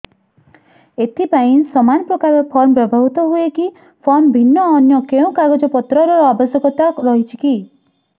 ଏଥିପାଇଁ ସମାନପ୍ରକାର ଫର୍ମ ବ୍ୟବହୃତ ହୂଏକି ଫର୍ମ ଭିନ୍ନ ଅନ୍ୟ କେଉଁ କାଗଜପତ୍ରର ଆବଶ୍ୟକତା ରହିଛିକି